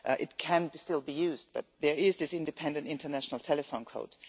It can be still be used, but there is this independent international telephone code.